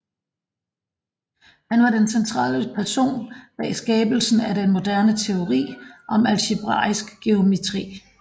Han var den centrale person bag skabelsen af den moderne teori om algebraisk geometri